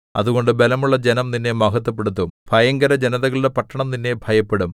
അതുകൊണ്ട് ബലമുള്ള ജനം നിന്നെ മഹത്ത്വപ്പെടുത്തും ഭയങ്കരജനതകളുടെ പട്ടണം നിന്നെ ഭയപ്പെടും